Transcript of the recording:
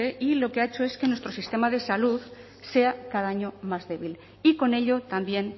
y lo que ha hecho es que nuestro sistema de salud sea cada año más débil y con ello también